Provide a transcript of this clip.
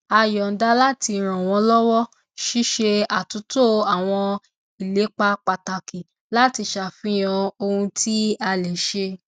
a yọnda láti ràn wọn lọwọ ṣíṣe àtúntò àwọn ìlépa pàtàkì láti ṣàfihàn ohun tí a lè ṣe